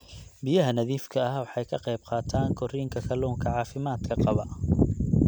Biyaha nadiifka ah waxay ka qayb qaataan korriinka kalluunka caafimaadka qaba.